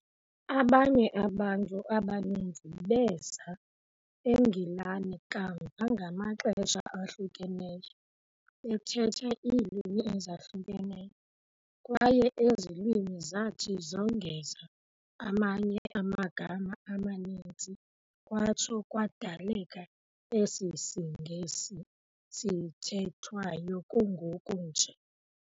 Abanye abantu abaninzi beeza eNgilane kamva ngamaxesha ahlukeneyo, bethetha iilwimi ezahlukeneyo, kwaye ezi lwimi zathi zongeza amanye amagama amaninzi kwatsho kwadaleka esi siNgesi sithethwayo kungoku nje.